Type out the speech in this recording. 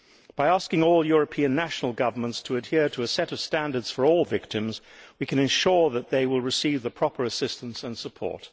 By asking all European national governments to adhere to a set of standards for all victims, we can ensure that they will receive the proper assistance and support.